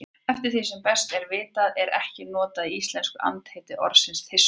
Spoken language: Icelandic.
Eftir því sem best er vitað er ekki notað í íslensku andheiti orðsins þyrstur.